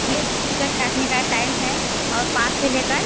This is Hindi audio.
यह टिकट काटने का टाइम है और पाँच से लेकर --